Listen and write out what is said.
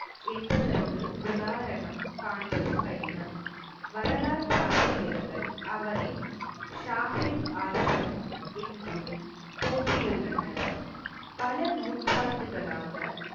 என்பதற்கு உதாரணம் காண்பது கடினம். வரலாற்று ஆசிரியர்கள், அவரை ஷாகித் ஆசம் என்றும் போற்றியுள்ளனர். பல நூற்றாண்டுகளாக